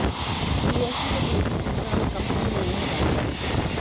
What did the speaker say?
BSE को भेजी सूचना में कंपनी ने यह जानकारी दी